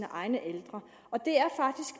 egne ældre